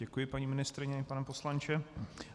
Děkuji, paní ministryně i pane poslanče.